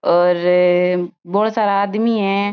और बोला सारा आदमी है।